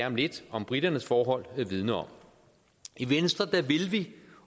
om lidt om briternes forhold vidner om i venstre vil vi